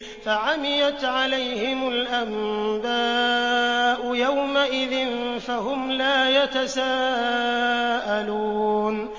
فَعَمِيَتْ عَلَيْهِمُ الْأَنبَاءُ يَوْمَئِذٍ فَهُمْ لَا يَتَسَاءَلُونَ